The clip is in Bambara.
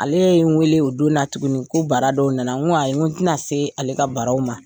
Ale ye n wele o don na tuguni ko baara dɔw nanan ko ayi n tɛna se ale ka baaraw ma.